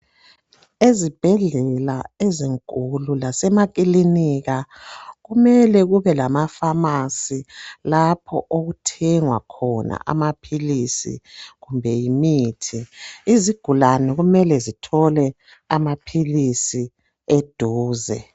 Ezibhedlela ezinkulu lasemakilinika kumele kubelamafamasi lapho okuthengwa khona amaphilisi kumbe yimithi. Izigulani kumele zithole amaphilisi eduze.